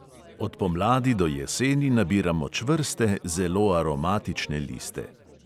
Od pomladi do jeseni nabiramo čvrste, zelo aromatične liste.